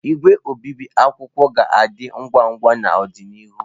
Igwe obibi akwụkwọ ga-adị ngwa ngwa n'ọdịnihu.